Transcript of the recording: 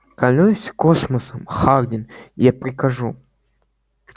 клянусь космосом хардин я прикажу